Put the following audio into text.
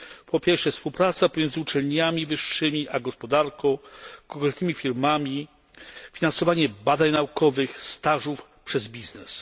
Po pierwsze współpraca między uczelniami wyższymi a gospodarką, konkretnymi firmami, finansowanie badań naukowych, stażów przez biznes.